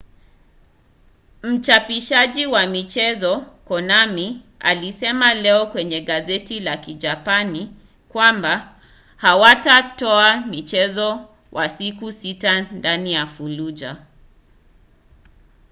mchapishaji wa michezo konami alisema leo kwenye gazeti la kijapani kwamba hawatatoa mchezo wa siku sita ndani ya fallujah